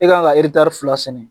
E kan ka fila sɛnɛ